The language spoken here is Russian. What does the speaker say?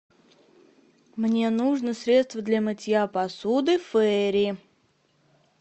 мне нужно средство для мытья посуды фейри